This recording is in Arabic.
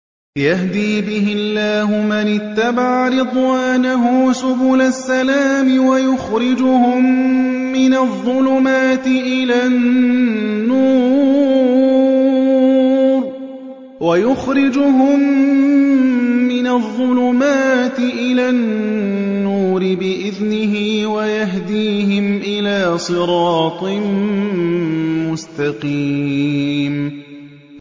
يَهْدِي بِهِ اللَّهُ مَنِ اتَّبَعَ رِضْوَانَهُ سُبُلَ السَّلَامِ وَيُخْرِجُهُم مِّنَ الظُّلُمَاتِ إِلَى النُّورِ بِإِذْنِهِ وَيَهْدِيهِمْ إِلَىٰ صِرَاطٍ مُّسْتَقِيمٍ